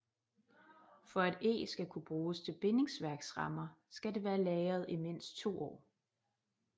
For at eg skal kunne bruges til bindingsværksrammer skal det være lagret i mindst to år